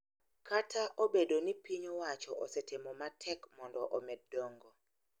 Kata obedo ni piny owachoo osetemo matek mondo omed dongo .